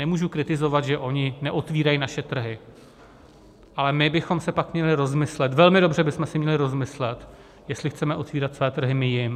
Nemůžu kritizovat, že oni neotvírají svoje trhy, ale my bychom si pak měli rozmyslet, velmi dobře bychom si měli rozmyslet, jestli chceme otevírat své trhy my jim.